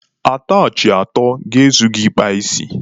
Atachị atọ ga-ezu gị ịkpa isi.